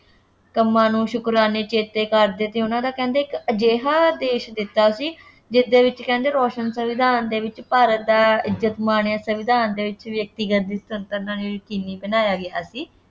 ਕੰਮਾਂ ਨੂੰ ਸ਼ੁਕਰਾਨੇ ਚੇਤੇ ਕਰਦੇ ਅਤੇ ਉਹਨਾ ਨੇ ਕਹਿੰਦੇ ਇੱਕ ਅਜਿਹਾ ਦੇਸ਼ ਦਿੱਤਾ ਸੀ ਜਿਸ ਦੇ ਵਿੱਚ ਕਹਿੰਦੇ ਰੋਸ਼ਨ ਸੰਵਿਧਾਨ ਦੇ ਵਿੱਚ ਭਾਰਤ ਦਾ ਇੱਜਤ ਮਾਣ ਜਾਂ ਸੰਵਿਧਾਨ ਦੇ ਵਿੱਚ ਵਿਅਕਤੀਗਤ ਸੁਤੰਤਰਤਾ ਨੂੰ ਯਕੀਨੀ ਬਣਾਇਆ ਗਿਆ ਸੀ।